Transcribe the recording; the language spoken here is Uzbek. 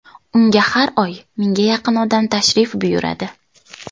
Unga har oy mingga yaqin odam tashrif buyuradi.